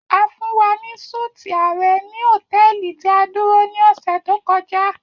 A fun wa ni súti ààrẹ ni hotẹẹli ti a duro ni ọ̀ṣẹ̀ to kọja.